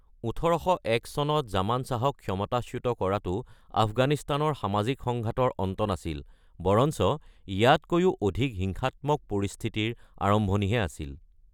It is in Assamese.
১৮০১ চনত জামান শ্বাহক ক্ষমতাচ্যুত কৰাটো আফগানিস্তানৰ সামাজিক সংঘাতৰ অন্ত নাছিল, বৰঞ্চ ইয়াতকৈও অধিক হিংসাত্মক পৰিস্থিতিৰ আৰম্ভণিহে আছিল।